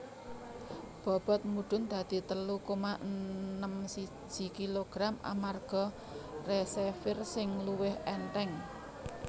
Bobot mudhun dadi telu koma enem siji kg amarga receiver sing luwih ènthèng